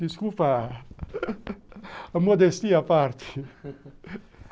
Desculpa a modéstia à parte.